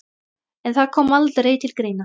En það kom aldrei til greina.